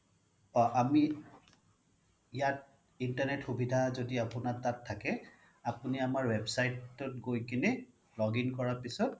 অ আমি ইয়াত internet সুবিধা যদি আপোনাৰ তাত থাকে আপুনি আমাৰ website ত গৈ কেনে login কৰাৰ পিছত